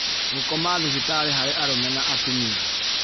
Gũkoma thibitarĩ harĩ arũme na atumia